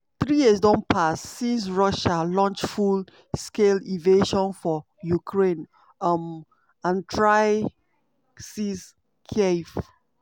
three years don pass since russia launch full-scale invasion for ukraine um and try seize kyiv.